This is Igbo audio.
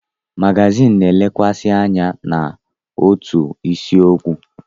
Magazin na-elekwasị anya n'otu isiokwu.